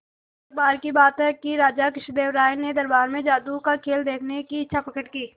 एक बार की बात है कि राजा कृष्णदेव राय ने दरबार में जादू का खेल देखने की इच्छा प्रकट की